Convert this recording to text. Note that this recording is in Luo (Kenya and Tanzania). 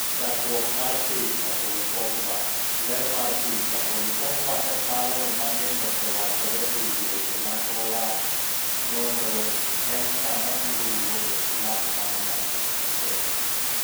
Chakruok mar picha, Paul Pogba . Ler mar picha, Paul Pogba ne paro ni mang'eny osewachore ewi weche mane owacho. Nonro:En ng'a mabiro wuok e klab mar Man United?